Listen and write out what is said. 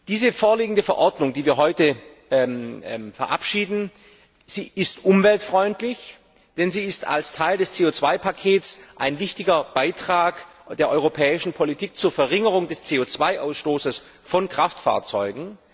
Diese vorliegende Verordnung, die wir heute verabschieden, ist umweltfreundlich, denn sie ist als Teil des CO 2 Pakets ein wichtiger Beitrag der europäischen Politik zur Verringerung des CO 2 Ausstoßes von Kraftfahrzeugen.